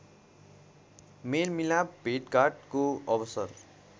मेलमिलाप भेटघाटको अवसर